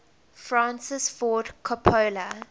francis ford coppola